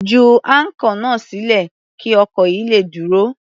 Ju áńkọ̀ náà sílẹ̀ kí ọkọ̀ yìí le dúró.